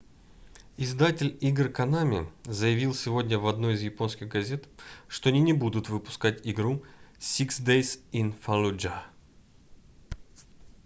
издатель игр konami заявил сегодня в одной из японских газет что они не будут выпускать игру six days in fallujah